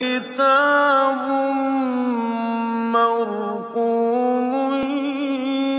كِتَابٌ مَّرْقُومٌ